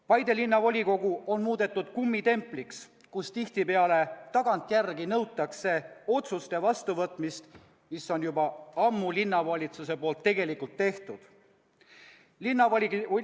Paide Linnavolikogu on muudetud kummitempliks, kus tihtipeale tagantjärgi nõutakse otsuste vastuvõtmist, mis on juba ammu linnavalitsuse poolt tegelikult tehtud.